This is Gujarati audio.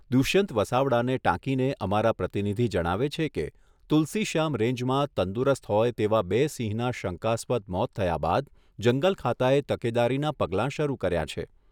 દુષ્યંત વસાવડાને ટાંકીને અમારા પ્રતિનિધિ જણાવે છે કે તુલસી શ્યામ રેન્જમાં તંદુરસ્ત હોય તેવા બે સિંહના શંકાસ્પદ મોત થયા બાદ જંગલ ખાતા એ તકેદારીના પગલાં શરૂ કર્યા છે.